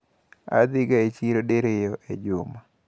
Adhi ga e chiro diriyo e juma.